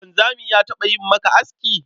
Wanzami ya taɓa yi maka aski?